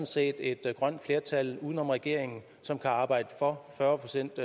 set et grønt flertal uden om regeringen som kan arbejde for fyrre procent